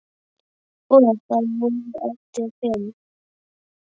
Og þá voru eftir fimm.